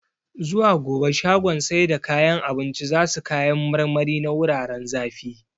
Zuwa gobe shagon sai da kayan abincin zasu kayan marmari na wuraren zafi